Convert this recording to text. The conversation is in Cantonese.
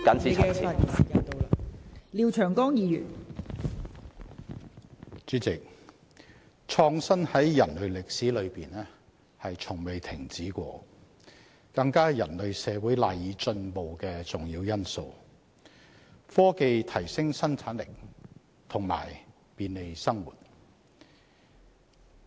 代理主席，創新在人類歷史中從未停止，更是人類社會賴以進步的重要因素，科技提升生產力及便利生活。